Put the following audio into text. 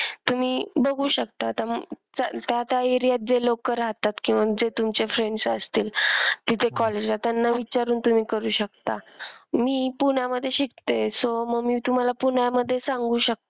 तुम्ही बघू शकता त्या त्या area त जे लोक रहातात किंवा जे तुमचे friends असतील तिथे college ला त्यांना विचारून तुम्ही करू शकता मी पुण्यामध्ये शिकते so मग मी तुम्हाला पुण्यामध्ये सांगू शकते.